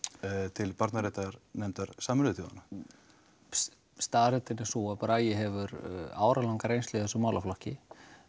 til barnaréttarnefndar Sameinuðu þjóðanna staðreyndin er sú að Bragi hefur áralanga reynslu af þessum málaflokki